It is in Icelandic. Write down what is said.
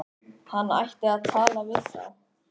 Hann ætti að tala við þá.